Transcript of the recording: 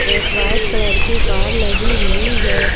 एक white colour की car लगी हुई है।